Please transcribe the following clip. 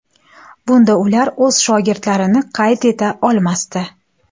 Bunda ular o‘z shogirdlarini qayd eta olmasdi.